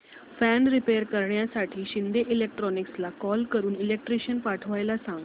fan repair करण्यासाठी शिंदे इलेक्ट्रॉनिक्सला call करून इलेक्ट्रिशियन पाठवायला सांग